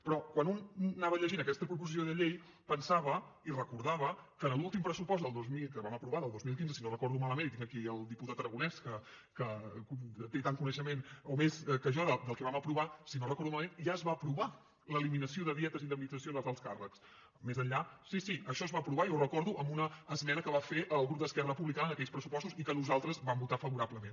però quan una anava llegint aquesta proposició de llei pensava i recordava que en l’últim pressupost que vam aprovar del dos mil quinze si no ho recordo malament i tinc aquí el diputat aragonès que té tant coneixement o més que jo del que vam aprovar ja es va aprovar l’eliminació de dietes i indemnitzacions als alts càrrecs més enllà var i ho recordo amb una esmena que va fer el grup d’esquerra republicana en aquells pressupostos i que nosaltres vam votar favorablement